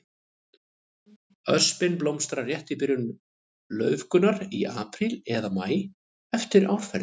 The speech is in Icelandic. Öspin blómstrar rétt í byrjun laufgunar, í apríl eða maí eftir árferði.